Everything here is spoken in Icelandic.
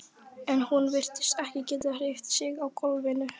En hún virtist ekki geta hreyft sig á gólfinu.